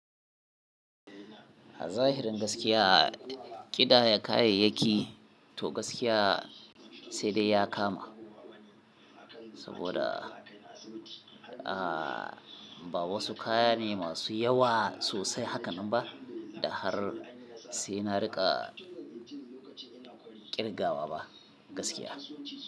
Zahirin gaskiya, ƙidaya kayayyaki to gaskiya sai dai ya kama. Saboda, ah, ba wasu kaya ne masu yawa sosai haka nan ba da har sai na riƙa ƙirgawa ba gaskiya.